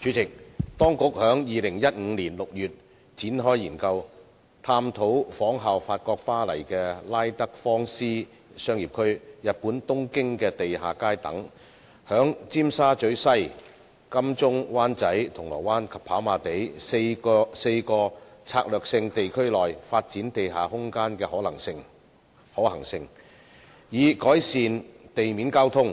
主席，當局在2015年6月展開研究，探討仿效法國巴黎的拉德芳斯商業區、日本東京的地下街等，在尖沙咀西、金鐘/灣仔、銅鑼灣及跑馬地4個策略性地區內發展地下空間的可行性，以改善地面交通、